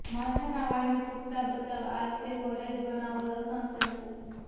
માથાના વાળને તૂટતા બચાવવા આ રીતે ઘરે જ બનાવો લસણ શેમ્પૂ